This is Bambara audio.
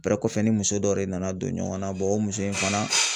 kɔfɛ ni muso dɔ de nana don ɲɔgɔn na o muso in fana.